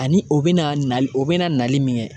Ani o bɛna na o bɛna nali min kɛ.